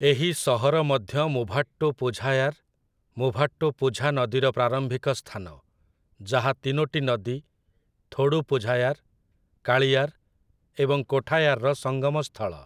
ଏହି ସହର ମଧ୍ୟ ମୁଭାଟ୍ଟୁପୁଝାୟାର୍, ମୁଭାଟ୍ଟୁପୁଝା ନଦୀର ପ୍ରାରମ୍ଭିକ ସ୍ଥାନ, ଯାହା ତିନୋଟି ନଦୀ, ଥୋଡୁପୁଝାୟାର୍, କାଳିୟାର୍ ଏବଂ କୋଠାୟାର୍‌ର ସଙ୍ଗମ ସ୍ଥଳ ।